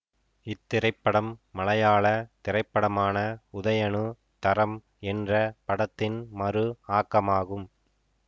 இத்திரைப்படம் மலையாள திரைப்படமான உதயனு தரம் என்ற படத்தின் மறு ஆக்கமாகும்